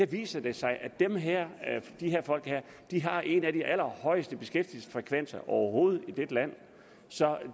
viser det sig at de her folk har en af de allerhøjeste beskæftigelsesfrekvenser overhovedet i dette land så